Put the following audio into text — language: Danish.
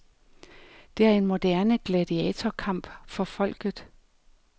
Det er en moderne gladiatorkamp for folket.